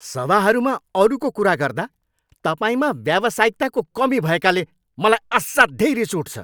सभाहरूमा अरूको कुरा गर्दा तपाईँमा व्यावसायिकताको कमी भएकाले मलाई असाध्यै रिस उठ्छ।